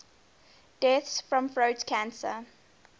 deaths from throat cancer